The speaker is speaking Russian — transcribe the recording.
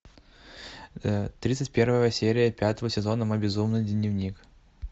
тридцать первая серия пятого сезона мой безумный дневник